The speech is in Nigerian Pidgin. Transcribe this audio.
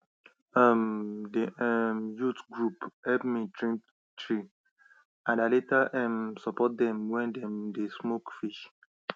um d um youth group help me trim tree and i later um support dem when dem dey smoke fish